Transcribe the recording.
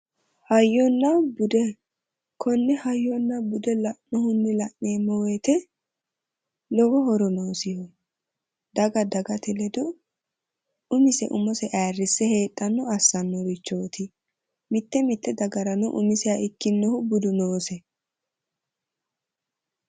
Hayyonna bude ,konne hayyonna bude la'nohunni la'neemmo woyte lowo horo noosiho daga dagate ledo umise umose ayirrise heedhanottano assanorichoti ,mite mite dagarano umiseha ikkinohu budu noose .